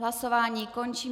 Hlasování končím.